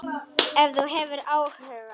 Ef þú hefur áhuga.